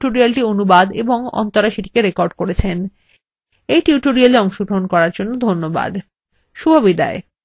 রাধা এই tutorialটি অনুবাদ এবং অন্তরা সেটিকে রেকর্ড করেছেন